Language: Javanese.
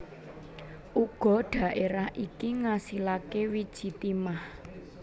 Uga dhaerah iki ngasilake wiji timah